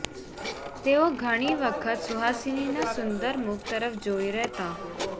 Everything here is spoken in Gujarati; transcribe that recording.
તેઓ ઘણી વખત સુહાસિનીના સુંદર મુખ તરફ જોઈ રહેતા